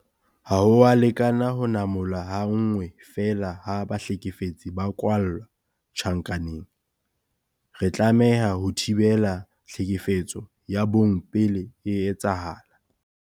Ha ho a lekana ho namola ha nngwe feela ha bahlekefetsi ba kwalla tjhankaneng. Re tlameha ho thibela tlhekefetso ya bong pele e etsahala.